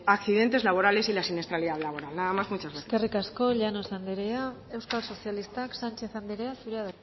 accidentes laborales y la siniestralidad laboral nada más muchas gracias eskerrik asko llanos anderea euskal sozialistak sánchez anderea zurea